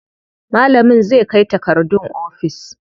Malamin zai kai takardun ofis.